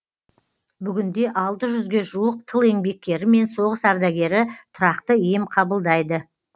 бүгінде алты жүзге жуық тыл еңбеккері мен соғыс ардагері тұрақты ем қабылдайды